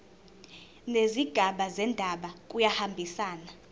nezigaba zendaba kuyahambisana